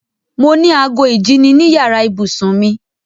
Mo ní ago ìjíni ní yàrá ìbùsùn mi.